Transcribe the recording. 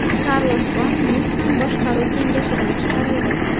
Karlos Gon Nissan boshqaruv kengashidan chiqarildi.